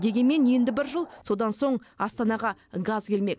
дегенмен енді бір жыл содан соң астанаға газ келмек